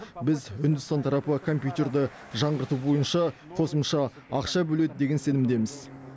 біз үндістан тарапы компьютерді жаңғырту бойынша қосымша ақша бөледі деген сенімдеміз